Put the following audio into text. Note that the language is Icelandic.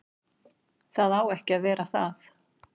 Það á ekki að vera það.